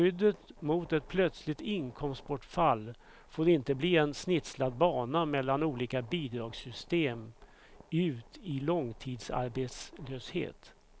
Skyddet mot ett plötsligt inkomstbortfall får inte bli en snitslad bana mellan olika bidragssystem ut i långtidsarbetslöshet.